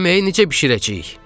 Yeməyi necə bişirəcəyik?